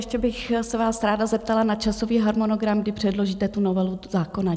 Ještě bych se vás ráda zeptala na časový harmonogram, kdy předložíte tu novelu zákona.